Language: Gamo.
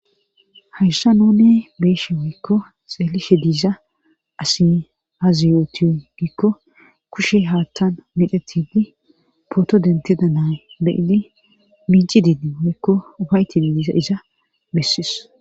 Hayssa nune beeshe woykko xeelishe diiza asi haaziyotiyo gikko kushe haattan midhetidi pooto dentida nay beyidi minci didi moekko ubaytidi diiza iza bessis.